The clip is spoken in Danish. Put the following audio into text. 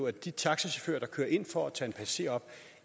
at de taxachauffører der kører ind for at tage en passager op